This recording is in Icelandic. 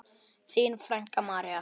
Þín frænka, María.